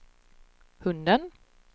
hunden